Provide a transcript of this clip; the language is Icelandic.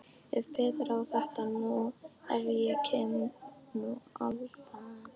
Ef Pétur á þetta nú. ef hann kæmi nú æðandi!